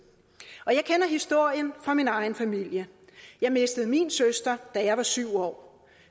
og jeg kender historien fra min egen familie jeg mistede min søster da jeg var syv år